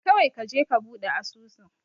Kawai kaje ka buɗe asusun.